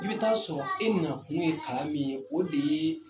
I bɛ t'a sɔrɔ e na kun ye kalan min ye, o de ye